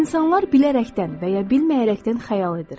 İnsanlar bilərəkdən və ya bilməyərəkdən xəyal edir.